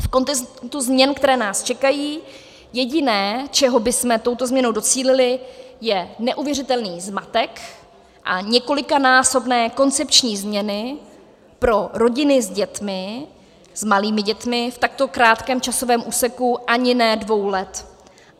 V kontextu změn, které nás čekají, jediné, čeho bychom touto změnou docílili, je neuvěřitelný zmatek a několikanásobné koncepční změny pro rodiny s dětmi, s malými dětmi, v takto krátkém časovém úseku ani ne dvou let.